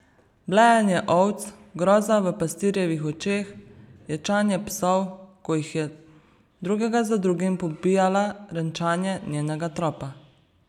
Blejanje ovc, groza v pastirjevih očeh, ječanje psov, ko jih je drugega za drugim pobijala, renčanje njenega tropa.